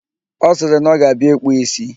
Ọ sịrị na ọ ga-abịa ịkpụ ísí